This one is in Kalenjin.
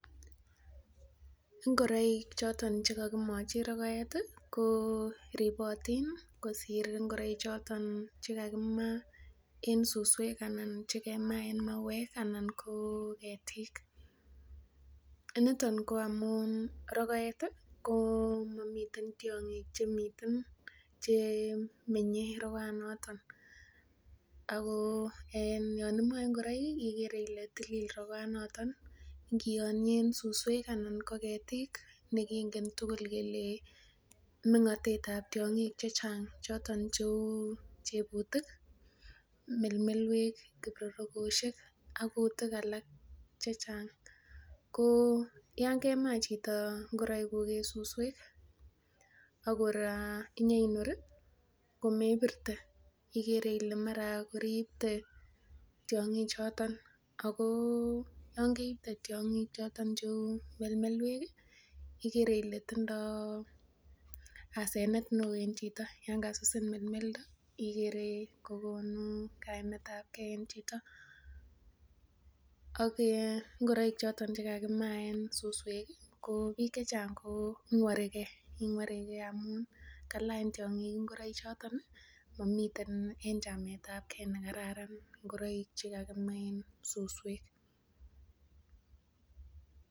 Ingoraik choton chekakimachi rogoet ih , ko ribotin kosir ingoraik choton en suswek anan chugema en en mawek anan ko ko getik. Niton amuun rogoet ih komami tiang'ik chemiten. Chemenye rokoet noton. Ago yoon imae ingoraik iker Ile tilil rokoet noton infianien suswek anan ko ketik nekingen tugul kele me cheuchebutik ih melmelwek , kirorokoshek ak kutik alak chechang ko yoon kemaa chito ingoraik kuk en susuek ih akora inyainor komebirte ak kora imuch iibte tiang'ik choton cheuu melmelwek ih , igere Ile tinye asenet neoo en chito yoon kasusin melmelda, igere kokonu kaimetabke en chito ak ingoraik choton chekakimaen susuek ih ko bik chechang koingurike, amun kalany tiang'ik ingoraik choton, mamii en chametabke ingoraik.